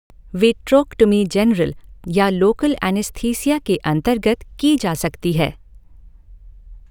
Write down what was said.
Vitrectomy general या local anaesthesia के अंतर्गत की जा सकती है।